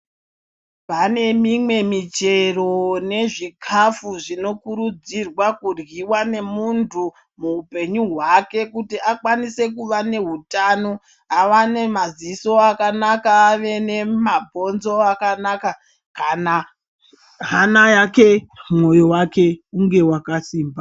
Pane mimwe michero nezvikafu zvinokurudzirwa kuryiwa nemuntu muupenyu hwake kuti akwanise kuva neutano. Awane madziso akanaka, ave nemabhonzo akanaka, kana hana yake-mwoyo wake unge wakasimba.